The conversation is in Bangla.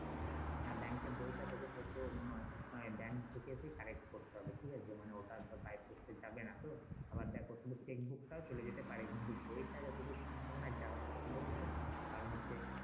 হ্যাঁ এর বইটা তোকে হয়তো মনে হয় হয়তো থেকে করতে হবে ঠিক আছে মানে ওটা তো পোস্টে যাবে না তো আবার দেখ ওটা তো টা চলে যেতে পারে কিন্তু বইটা যতটুকু সম্ভাবনা যাবে না কেনো বল তো কারণ হচ্ছে